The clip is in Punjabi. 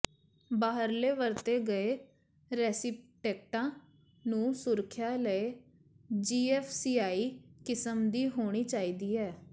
ਬਾਹਰਲੇ ਵਰਤੇ ਗਏ ਰੈਸੀਪਟੈਕਟਾਂ ਨੂੰ ਸੁਰੱਖਿਆ ਲਈ ਜੀਐਫਸੀਆਈ ਕਿਸਮ ਦੀ ਹੋਣੀ ਚਾਹੀਦੀ ਹੈ